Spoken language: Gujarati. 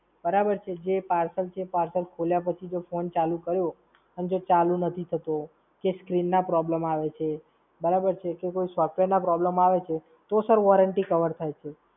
બરાબર છે? જે parcel છે, એ parcel ખોલ્યા પછી જો phone ચાલુ કર્યો અને જો ચાલુ નથી થતો, કે Screen problems આવે છે, બરાબર છે? કે કોઈ Software problems આવે છે, તો Sir Warranty cover થાય છે.